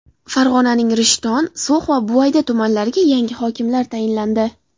Farg‘onaning Rishton, So‘x va Buvayda tumanlariga yangi hokimlar tayinlandi.